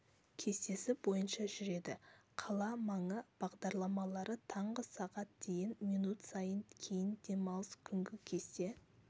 кестесі бойынша жүреді қала маңы бағдарлары таңғы сағат дейін минут сайын кейін демалыс күнгі кесте